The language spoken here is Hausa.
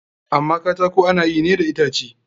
Amma katako ana yi ne daga itace.